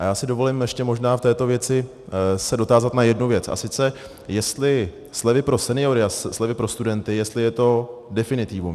A já si dovolím ještě možná v této věci se dotázat na jednu věc, a sice jestli slevy pro seniory a slevy pro studenty, jestli je to definitivum.